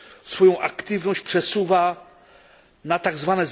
swoją aktywność przesuwa na tzw.